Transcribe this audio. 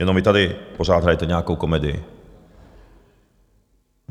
Jenom vy tady pořád hrajete nějakou komedii.